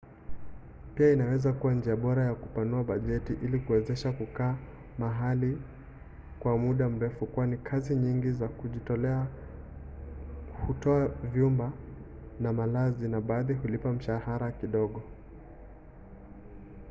pia inaweza kuwa njia bora ya kupanua bajeti ili kuwezesha kukaa mahali kwa muda mrefu kwani kazi nyingi za kujitolea hutoa vyumba na malazi na baadhi hulipa mshahara kidogo